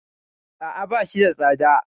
A'a, ba shi da tsada.